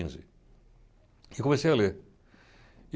quinze. E eu comecei a ler.